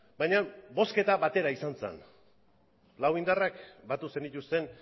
baina bozketa batera izan zen lau indarrak batu zenituzten